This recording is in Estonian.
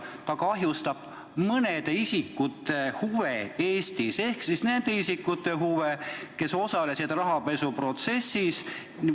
Ta kahjustab mõnede isikute huve Eestis ehk siis nende isikute huve, kes osalesid rahapesuprotsessis.